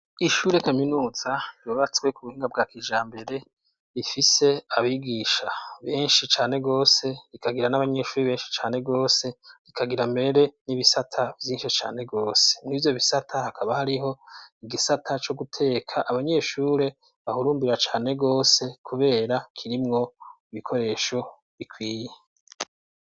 Ishure kaminuza yubatswe ku buhinga bwa kijambere; rifise abigisha benshi cane rwose, rikagira n'abanyeshuri benshi cane rwose; rikagira mbere n'ibisata vyinshi cane rwose. Mw' ivyo bisata hakaba hariho igisata co guteka, abanyeshure bahurumbira cane rwose kubera kirimwo ibikoresho bikwiye.